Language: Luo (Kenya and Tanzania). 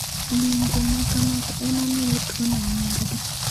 Ng'injo ma kamago e ma miyo tuwono nying'gi.